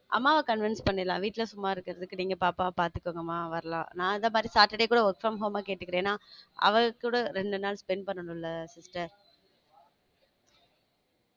அம்மா convince பண்ணலம் வீட்ல சும்மா இருக்கறதுக்கு நீங்க பாப்பாவ பாத்துக்கோங்க மா வரலாம் நான் ஆ கேட்டுகுரன் அவரு கூட ரெண்டு நாள் spend பண்ணனும்ல sister